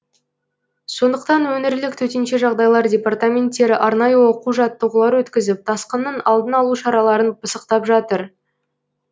сондықтан өңірлік төтенше жағдайлар департаменттері арнайы оқу жаттығулар өткізіп тасқынның алдын алу шараларын пысықтап жатыр